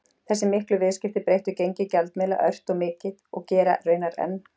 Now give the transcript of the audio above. Þessi miklu viðskipti breyttu gengi gjaldmiðla ört og mikið og gera raunar enn.